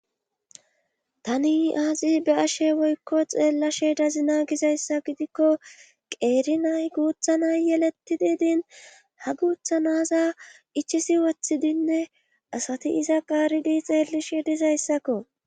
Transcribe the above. Tani aazi be ashe woykko xeellashe dazina gizayssa gidikko qeerinay guuthanay yelettidi din ha guuthanaza ichisi wothidinne asati iza qaaridi xeellishe dizayssakko